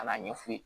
Ka n'a ɲɛf'u ye